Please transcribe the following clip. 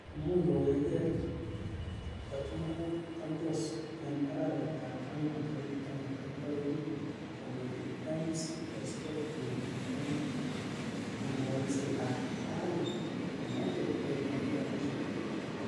Imuch kowegee kochumugondos en arawetab angwan tarigit taman ak loo yekin kondochi MCSK tienik en kong'elelset ab oret komoche keliponyi rabishek tugul.